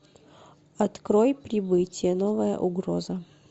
открой прибытие новая угроза